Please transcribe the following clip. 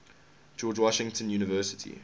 george washington university